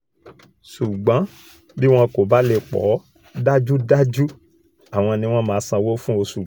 ṣùgbọ́n bí wọn kò bá lè pọ̀ ọ́ dájúdájú àwọn ni wọ́n máa sanwó fún oṣùgbọ́